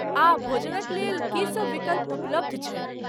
आ भोजनक लेल की सभ विकल्प उपलब्ध छैक?